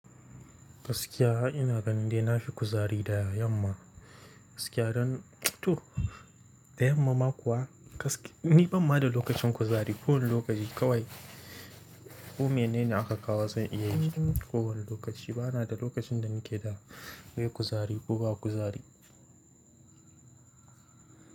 Gaskiya ina gani dai na fi kuzari da yamma, gaskiya don to Da yamma ma kuwa, ni ban ma da lokacin kuzari. Ko wani lokaci kawai ko mene ne aka kawo zan iya yi. Ko wani lokaci bana da lokacin da nake da bai yi kuzari ko ba kuzari.